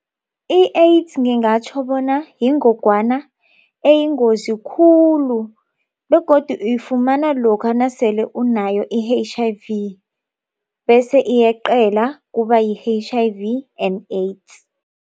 I-AIDS ngingatjho bona yingogwana eyingozi khulu begodu uyifumana lokha nasele unayo i- H_I_V bese iyeqele kubayi-H_I_V and AIDS.